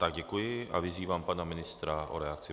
Tak děkuji a vyzývám pana ministra k reakci.